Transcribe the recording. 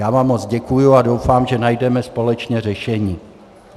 Já vám moc děkuji a doufám, že najdeme společně řešení.